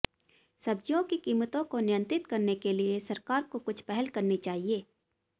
सब्जियों की कीमतों को नियंत्रित करने के लिए सरकार को कुछ पहल करनी चाहिए